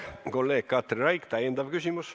Kolleeg Katri Raik, täiendav küsimus.